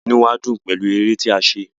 Inú wa dùn pẹlú èrè tí a ṣe.